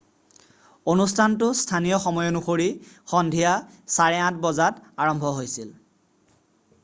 অনুষ্ঠানটো স্থানীয় সময় অনুসৰি সন্ধিয়া ৮:৩০ বজাত ১৫.০০ utc আৰম্ভ হৈছিল।